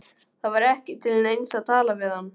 Það var ekki til neins að tala við hann.